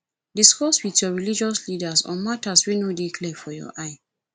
discuss with your religious leaders on matters wey no de clear for your eye